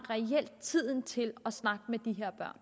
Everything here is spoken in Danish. tiden til at snakke med de her